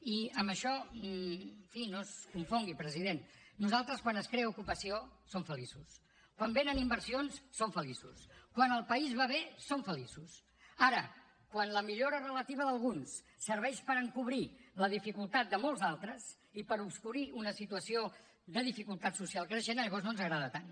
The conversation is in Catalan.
i amb això en fi no es confongui president nosaltres quan es crea ocupació som feliços quan venen inversions som feliços quan el país va bé som feliços ara quan la millora relativa d’alguns serveix per encobrir la dificultat de molts altres i per obscurir una situació de dificultat social creixent llavors no ens agrada tant